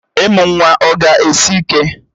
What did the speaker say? Ịmụ nwa ọ ga-esi ike?